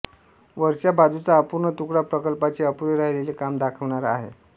वरच्या बाजूचा अपूर्ण तुकडा प्रकल्पाचे अपुरे राहिलेले काम दाखविणारा आहे